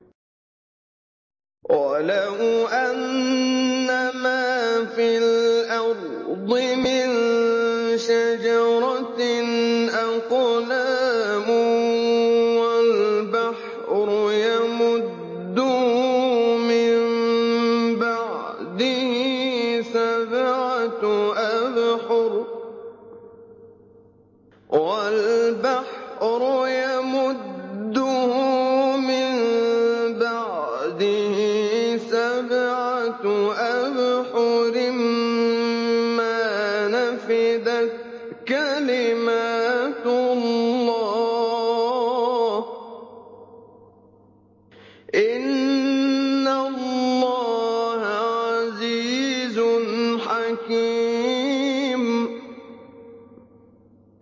وَلَوْ أَنَّمَا فِي الْأَرْضِ مِن شَجَرَةٍ أَقْلَامٌ وَالْبَحْرُ يَمُدُّهُ مِن بَعْدِهِ سَبْعَةُ أَبْحُرٍ مَّا نَفِدَتْ كَلِمَاتُ اللَّهِ ۗ إِنَّ اللَّهَ عَزِيزٌ حَكِيمٌ